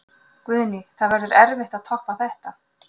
Guðný: Það verður erfitt að toppa þetta?